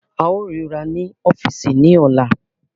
A óò ríra ní ọ́fíìsì ní ọ̀la